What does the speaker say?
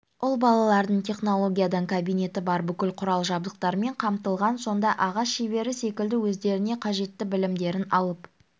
ұл балалардың технологиядан кабинеті бар бүкіл құрал-жабдықтармен қамтылған сонда ағаш шебері секілді өздеріне қажетті білімдерін алып